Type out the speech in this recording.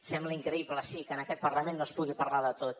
sembla increïble sí que en aquest parlament no es pugui parlar de tot